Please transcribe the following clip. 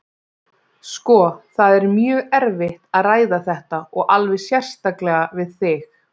Sko, það er mjög erfitt að ræða þetta, og alveg sérstaklega við þig.